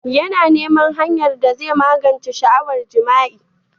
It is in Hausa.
Yana neman hanyar da zai magance sha'awar jima'i.